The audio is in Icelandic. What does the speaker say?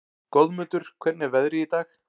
Goðmundur, hvernig er veðrið í dag?